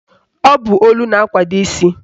Ọ bụ olu na-akwado isi